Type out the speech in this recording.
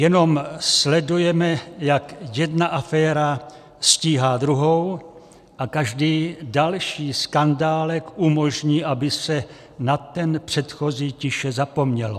Jenom sledujeme, jak jedna aféra stíhá druhou, a každý další skandálek umožní, aby se na ten předchozí tiše zapomnělo.